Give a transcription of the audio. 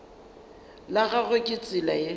la gagwe ke tsela ye